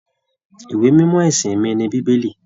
Ìwé mímọ ẹsìn mí ní bíbélì.